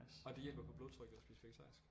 Og det hjælper på blodtrykket at spise vegetarisk